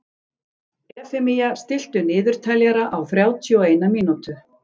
Efemía, stilltu niðurteljara á þrjátíu og eina mínútur.